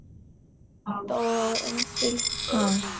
ହଁ ତ